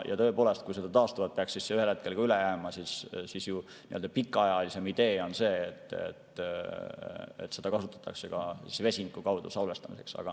Ja tõepoolest, kui seda taastuvat energiat peaks ühel hetkel üle jääma, siis pikaajalisem idee on see, et seda kasutatakse ka vesinikku salvestamiseks.